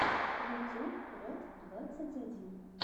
ютюб рэд двадцать один